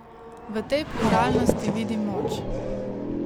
V tej pluralnosti vidim moč.